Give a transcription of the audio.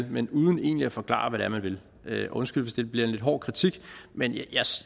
men uden egentlig at forklare hvad det er man vil vil undskyld hvis det bliver en lidt hård kritik men